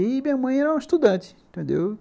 E minha mãe era uma estudante, entendeu?